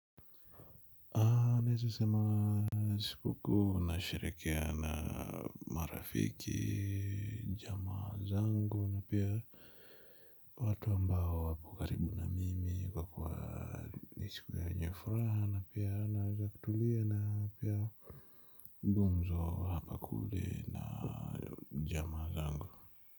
Nesasema sikukuu na sherekea na marafiki, jama zangu na pia. Watu ambao wapo karibu na mimi kwa kwa ni siku yenye furaha na pia naweza kutulia na pia gumzo hapa kule na jamaa zangu.